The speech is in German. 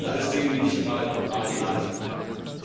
Das sind alles Themen, die nicht gerade marginal sind. BRK